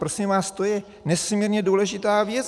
Prosím vás, to je nesmírně důležitá věc.